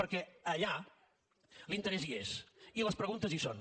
perquè allà l’interès hi és i les preguntes hi són